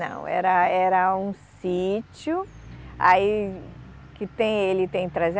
Não, era era um sítio aí, que tem ele tem trezen